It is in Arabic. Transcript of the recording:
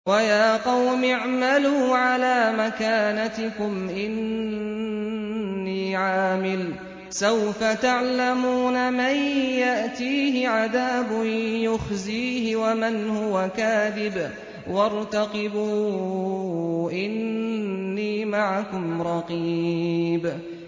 وَيَا قَوْمِ اعْمَلُوا عَلَىٰ مَكَانَتِكُمْ إِنِّي عَامِلٌ ۖ سَوْفَ تَعْلَمُونَ مَن يَأْتِيهِ عَذَابٌ يُخْزِيهِ وَمَنْ هُوَ كَاذِبٌ ۖ وَارْتَقِبُوا إِنِّي مَعَكُمْ رَقِيبٌ